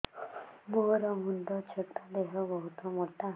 ମୋର ମୁଣ୍ଡ ଛୋଟ ଦେହ ବହୁତ ମୋଟା